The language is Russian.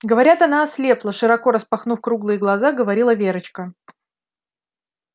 говорят она ослепла широко распахнув круглые глаза говорила верочка